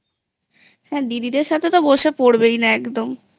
হ্যাঁ দিদিদের সাথে তো বসে পড়বেই না একদমI